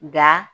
Nga